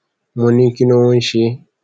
mo ní kí ló ń ṣe é